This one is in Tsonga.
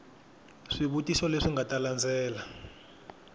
swivutiso leswi nga ta landzela